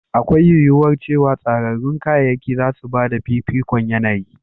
Akwai yuwuwar cewa tsararrun kayayyaki za su ba da fifikon yanayi.